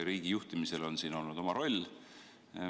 Riigi juhtimisel on selles olnud oma roll.